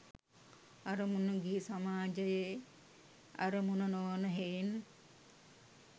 අරමුණ ගිහි සමාජයේ අරමුණ නොවන හෙයින්